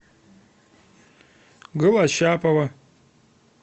голощапова